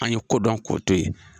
An ye kodɔn ko to ye.